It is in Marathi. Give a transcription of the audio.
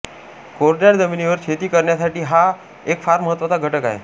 कोरड्या जमिनीवर शेती करण्यासाठी हा एक फार महत्त्वाचा घटक आहे